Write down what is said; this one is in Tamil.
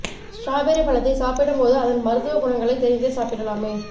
ஸ்ட்ராபெர்ரி பழத்தை சாப்பிடும் போது அதன் மருத்துவ குணங்களை தெரிந்தே சாப்பிடலாமே